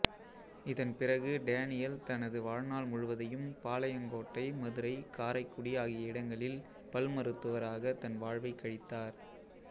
இதன்பிறகு டேனியல் தனது வாழ்நாள் முழுவதையும் பாளையங்கோட்டை மதுரை காரைக்குடி ஆகிய இடங்களில் பல் மருத்துவராக தன் வாழ்வைக் கழித்தார்